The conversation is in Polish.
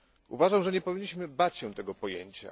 Uważam, że nie powinniśmy bać się tego pojęcia.